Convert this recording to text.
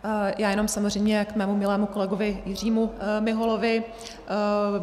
Já jenom samozřejmě k mému milému kolegovi Jiřímu Miholovi.